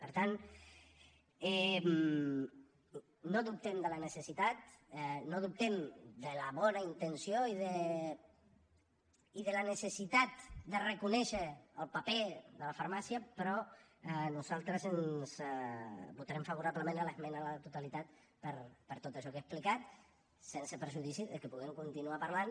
per tant no dubtem de la necessitat no dubtem de la bona intenció i de la necessitat de reconèixer el paper de la farmàcia però nosaltres votarem favorablement l’esmena a la totalitat per tot això que he explicat sense perjudici de que puguem continuar parlant